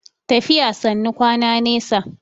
tafiya sannu kwana nesa